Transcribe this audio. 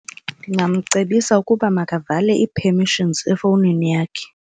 Ndingamcebisa ukuba makavale ii-permissions efowunini yakhe.